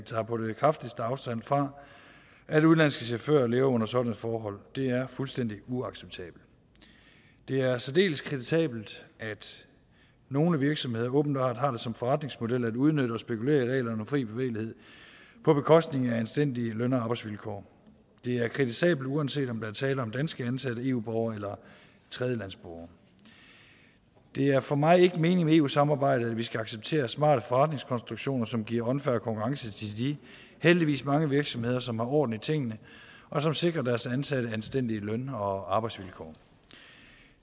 på det kraftigste tager afstand fra at udenlandske chauffører lever under sådanne forhold det er fuldstændig uacceptabelt det er særdeles kritisabelt at nogle virksomheder åbenbart har det som forretningsmodel at udnytte og spekulere i reglerne om fri bevægelighed på bekostning af anstændige løn og arbejdsvilkår det er kritisabelt uanset om der er tale om dansk ansatte eu borgere eller tredjelandsborger det er for mig ikke meningen med eu samarbejdet at vi skal acceptere smarte forretningskonstruktioner som giver unfair konkurrence til de heldigvis mange virksomheder som har orden i tingene og som sikrer deres ansatte anstændige løn og arbejdsvilkår